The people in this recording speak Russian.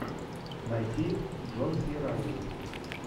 найти джон си райли